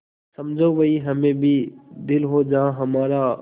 समझो वहीं हमें भी दिल हो जहाँ हमारा